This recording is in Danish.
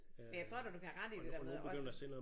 Men jeg tror da du kan have ret i det der med også